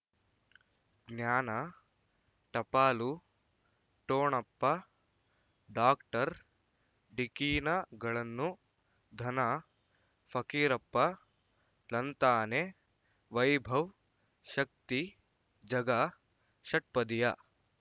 ಜ್ಞಾನ ಟಪಾಲು ಠೊಣಪ ಡಾಕ್ಟರ್ ಢಿಕ್ಕಿ ಣಗಳನು ಧನ ಫಕೀರಪ್ಪ ಳಂತಾನೆ ವೈಭವ್ ಶಕ್ತಿ ಝಗಾ ಷಟ್ಪದಿಯ